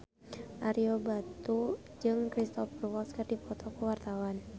Ario Batu jeung Cristhoper Waltz keur dipoto ku wartawan